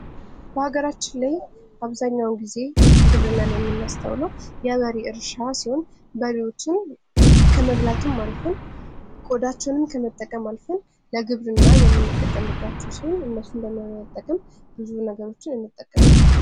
በሀገራችን ላይ በአብዛኛውን ጊዜ ግብርናን የምናስተውለው በበሬ እርሻ ሲሆን በሬዎችን ከመብላትም አልፈን ቆዳቸውንም ከመጠቀም አልፈን ለግብርና የምንጠቀምባቸው ሲሆን እነሱን በመጠቀም እነዚህ ነገሮችን እንጠቀማለን::